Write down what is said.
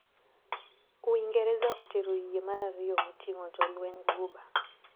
Uingereza otero yie mar ariyo moting`o jolweny Guba.